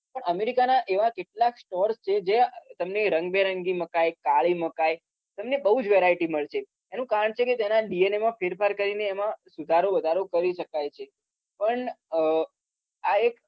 પણ America ના એવા કેટલાક stores છે જે તમને રંગબેરંગી મકાઈ કાળી મકાઈ તમને બોઉ જ variety મળશે એનું continuous એના DNA માં ફેરફાર કરીને એમાં સુધારો વધારો કરી શકાય છે પણ અમ આ એક